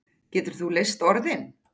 Getur þú leyst orðin?